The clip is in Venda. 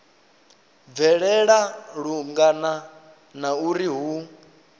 bvelela lungana na uri hu